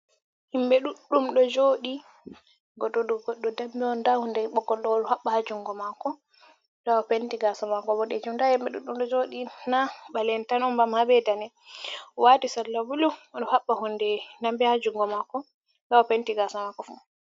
Himɓɓe ɗuɗɗum ɗo joɗi goɗɗo ɗo goɗɗo damɓe on nda hunde ɓogol ɗo oɗo habba hunde damɓe ha jungo mako nɗa opet kasa mako boɗɗejim nda himbe ɗuɗɗum dum do jodi na ɓale'en on tan on ba habe dane'en o wati sala bulu odo haɓɓa hunde damɓe ha jungo mako nɗa o penti gasa mako fu.